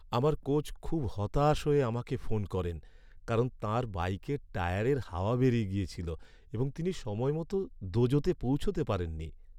আমার কোচ খুব হতাশ হয়ে আমাকে ফোন করেন কারণ তাঁর বাইকের টায়ারের হাওয়া বেরিয়ে গেছিল এবং তিনি সময়মতো দোজোতে পৌঁছাতে পারেননি।